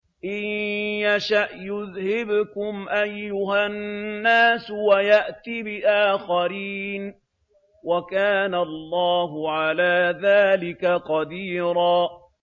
إِن يَشَأْ يُذْهِبْكُمْ أَيُّهَا النَّاسُ وَيَأْتِ بِآخَرِينَ ۚ وَكَانَ اللَّهُ عَلَىٰ ذَٰلِكَ قَدِيرًا